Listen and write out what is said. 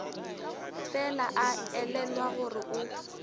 fela a elelwa gore o